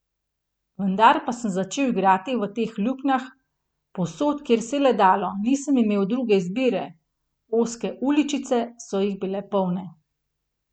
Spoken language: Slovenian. Vendar pa sem začel igrati v teh luknjah, povsod, kjer se je le dalo, nisem imel druge izbire, ozke uličice so jih bile polne.